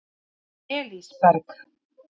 Elísberg